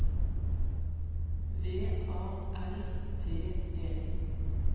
V A R T E